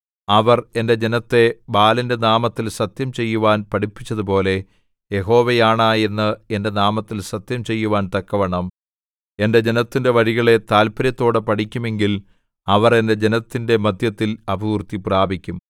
അവർ എന്റെ ജനത്തെ ബാലിന്റെ നാമത്തിൽ സത്യം ചെയ്യുവാൻ പഠിപ്പിച്ചതുപോലെ യഹോവയാണ എന്ന് എന്റെ നാമത്തിൽ സത്യം ചെയ്യുവാൻ തക്കവണ്ണം എന്റെ ജനത്തിന്റെ വഴികളെ താത്പര്യത്തോടെ പഠിക്കുമെങ്കിൽ അവർ എന്റെ ജനത്തിന്റെ മദ്ധ്യത്തിൽ അഭിവൃദ്ധിപ്രാപിക്കും